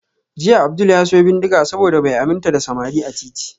Jiya Abdul ya siyo bindiga saboda bai aminta da samari a titi